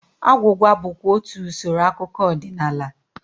Agwụgwa bụkwa otú usoro akụkọ ọdịnala